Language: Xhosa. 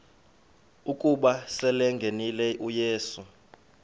ukuba selengenile uyesu